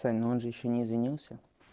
но он же ещё не извинился